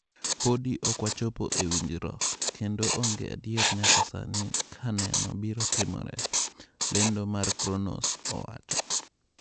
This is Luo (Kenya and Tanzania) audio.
Podi ok wachopo e winjruok, kendo onge adier nyaka sani ka keno biro timore," lendo mar Cronos owacho.